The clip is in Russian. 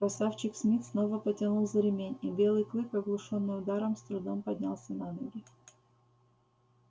красавчик смит снова потянул за ремень и белый клык оглушённый ударом с трудом поднялся на ноги